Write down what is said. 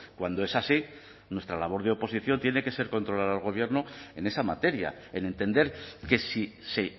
cuando es así nuestra labor de oposición tiene que ser controlar al gobierno en esa materia en entender que si se